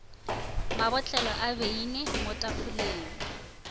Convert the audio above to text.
mabotlelo a beine mo tafoleng